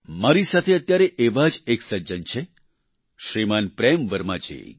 મારી સાથે અત્યારે એવા જ એક સજ્જન છે શ્રીમાન પ્રેમ વર્મા જી